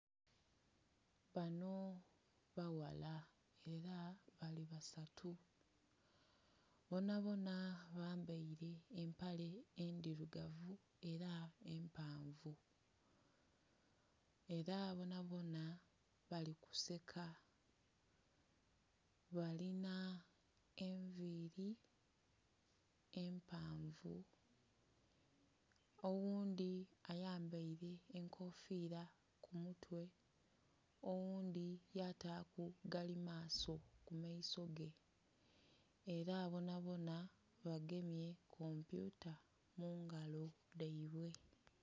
Bano baghala ela bali basatu. Bonabona bambaile empale endhilugavu ela empanvu. Ela bonabona bali kuseka. Balina envili empanvu. Ogundhi ayambaile enkofiila ku mutwe, oghundhi yataaku galimaaso ku maiso ge. Ela bonabona bagemye kompyuta mu ngalo dhaibwe.